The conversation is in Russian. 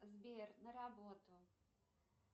сбер на работу